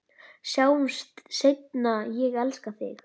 Sjáumst seinna, ég elska þig.